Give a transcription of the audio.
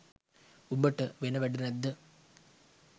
උඹට වෙන වැඩ නැද්ද